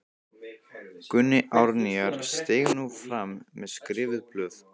Gunni Árnýjar steig nú fram með skrifuð blöð.